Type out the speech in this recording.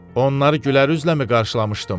Onları gülərüzləmi qarşılamışdım?